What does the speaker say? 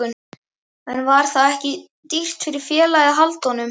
En var það ekki dýrt fyrir félagið að halda honum?